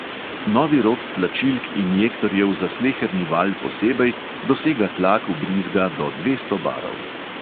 Novi rod tlačilk injektorjev za sleherni valj posebej dosega tlak vbrizga do dvesto barov.